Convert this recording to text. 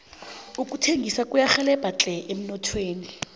ukuthengisa kuyarhelebha tle emnothweni